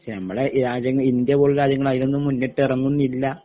ശ് നമ്മളെ രാജ്യങ്ങള് ഇന്ത്യപോലുള്ള രാജ്യങ്ങള് അതിനൊന്നും മൂന്നിട്ടെറങ്ങുന്നില്ല